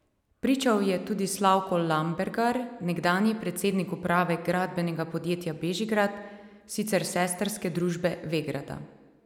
Pričal je tudi Slavko Lambergar, nekdanji predsednik uprave Gradbenega podjetja Bežigrad, sicer sestrske družbe Vegrada.